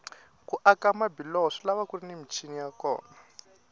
ku aka mabiloho swilava kuri ni michini ya kona